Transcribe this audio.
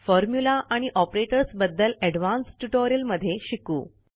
formula आणि operators बद्दल advance tutorial मध्ये शिकू